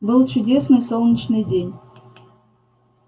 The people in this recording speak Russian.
был чудесный солнечный день